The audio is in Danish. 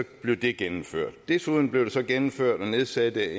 blev det gennemført desuden blev det så gennemført at nedsætte